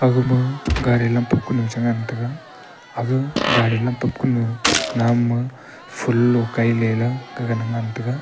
agama gari lam chengan taga aga gari lam namma ful logai ley gagana ngan taga.